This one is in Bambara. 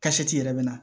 yɛrɛ bɛ na